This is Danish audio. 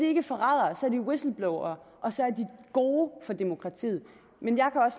ikke forrædere så er de whistleblowere og så er de gode for demokratiet men